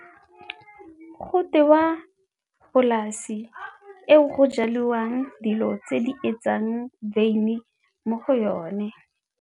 Go tewa polasi eo go jaliwang dilo tse di etsang wine mo go yone.